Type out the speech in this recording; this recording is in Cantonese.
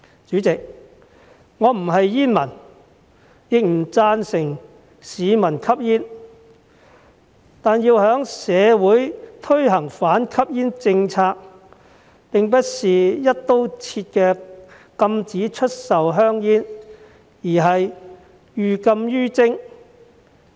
主席，我不是煙民，亦不贊成市民吸煙，但要在社會推行反吸煙政策並不是"一刀切"的禁止出售香煙，而是寓禁於徵。